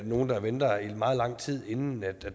nogle der venter i meget lang tid inden